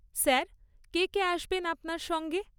Sir, কে কে আসবেন আপনার সঙ্গে?